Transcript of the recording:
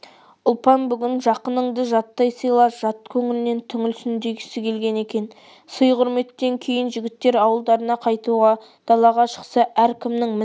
ұлпан бүгін жақыныңды жаттай сыйла жат көңілінен түңілсін дегісі келгендей екен сый-құрметтен кейін жігіттер ауылдарына қайтуға далаға шықса әр кімнің мініп келген